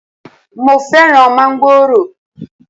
Mo fẹ́ràn mángòrò